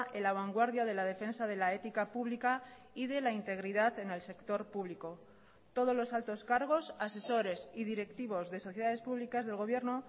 en la vanguardia de la defensa de la ética pública y de la integridad en el sector público todos los altos cargos asesores y directivos de sociedades públicas del gobierno